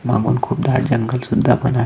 मागून खूप दाट जंगल सुद्धा पण आ--